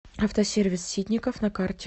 автосервис ситников на карте